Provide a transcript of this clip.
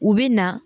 U bɛ na